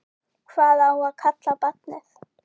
Hvað á að kalla barnið?